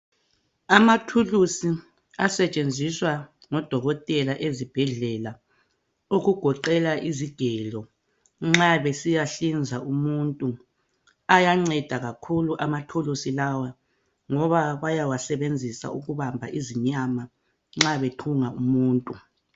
Amathulusi asetshenziswa ngodokotela ezibhendlela okugoqela izigelo nxa besiyahlinza umuntu ayanceda kakhulu amathulusi lawa ngoba bayawasebenzisa ukuhamba izinyama nxa bethunga umuntu.